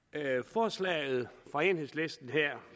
forslaget fra enhedslisten